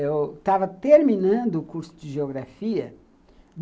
Eu estava terminando o curso de geografia.